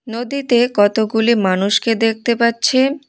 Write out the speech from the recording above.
নদীতে কতগুলি মানুষকে দেখতে পাচ্ছেন।